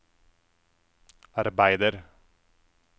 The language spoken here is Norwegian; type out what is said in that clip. arbeider